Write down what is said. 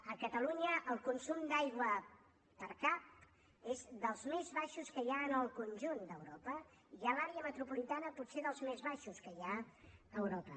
a catalunya el consum d’aigua per cap és dels més baixos que hi ha en el conjunt d’europa i a l’àrea metropolitana potser dels més baixos que hi ha a europa